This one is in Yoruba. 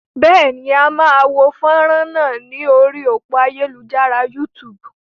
Bẹ́ẹ̀ ni, a máa wo fánrán náà lórí òpó ayélujára YouTube.